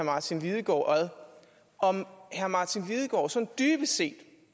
martin lidegaard om herre martin lidegaard sådan dybest set